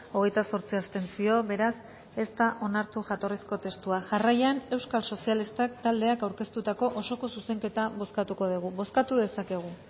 hogeita zortzi abstentzio beraz ez da onartu jatorrizko testua jarraian euskal sozialistak taldeak aurkeztutako osoko zuzenketa bozkatuko dugu bozkatu dezakegu